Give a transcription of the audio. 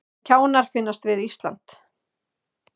Kjánar finnast við Ísland